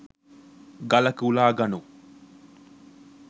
ගලක උලා ගනු